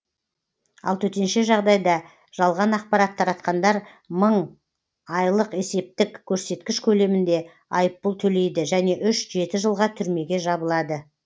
ал төтенше жағдайда жалған ақпарат таратқандар мың айлық есептегіш көрсеткіш көлемінде айыппұл төлейді және үш жеті жылға түрмеге жабылады